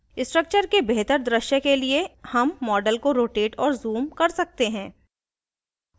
structure के बेहतर दृश्य के लिए हम model को rotate और zoom कर सकते हैं